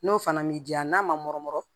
N'o fana m'i diya n'a ma nɔrɔ